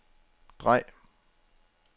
drej